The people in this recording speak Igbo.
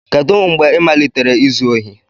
Kedu mgbe ị malitere izu ohi?